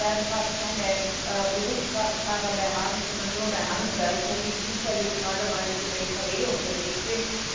Wir werden fast keine Berufskraftfahrer mehr haben, sondern nur mehr Handwerker, die zufällig gerade mal mit dem Lkw unterwegs sind.